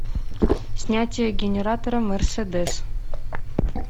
снятие генератора мерседес